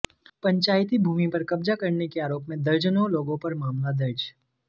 पंचायती भूमि पर कब्जा करने के आरोप में दर्जनों लोगों पर मामला दर्ज